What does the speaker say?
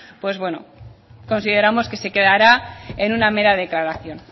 pues bueno consideramos que se quedará en una mera declaración